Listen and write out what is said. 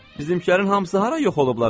Bizimkilərin hamısı hara yox olublar axı?